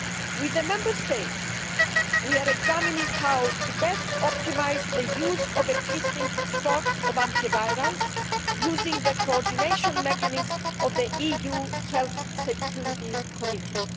With the Member States, we are examining how to best optimise the use of existing stocks of antivirals, using the coordination mechanism of the EU Health Security Committee.